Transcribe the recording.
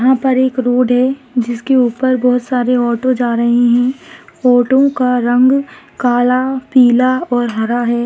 यहा पर एक रोड है जिसके ऊपर बहुत सारे ऑटो जा रहे है ऑटो का रंग काला पीला और हारा है।